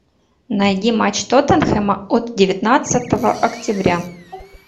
найди матч тоттенхэма от девятнадцатого октября